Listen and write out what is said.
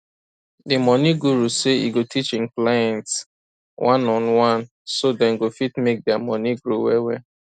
di money guru say e go teach hin clients oneonone so dem go fit make dia money grow well well